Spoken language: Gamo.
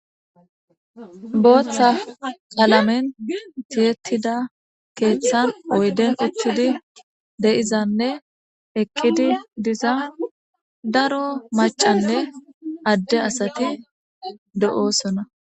booththa qalamen tiyettida keeththan oyden utttidi de7izanne eqqidi diza daro macanne adde asati do7oosona.